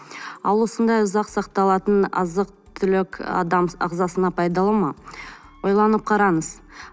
ал осындай ұзақ сақталатын азық түлік адам ағзасына пайдалы ма ойланып қараңыз